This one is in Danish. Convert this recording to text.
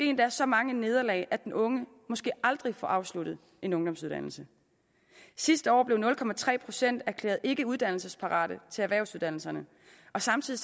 endda så mange nederlag at den unge måske aldrig får afsluttet en ungdomsuddannelse sidste år blev nul procent erklæret ikkeuddannelsesparate til erhvervsuddannelserne og samtidig